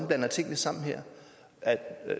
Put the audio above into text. blander tingene sammen her